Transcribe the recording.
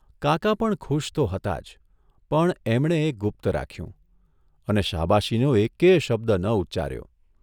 કાકા પણ ખુશ તો હતા જ પણ એમણે એ ગુપ્ત રાખ્યું અને શાબાશીનો એકેય શબ્દ ન ઉચ્ચાર્યો.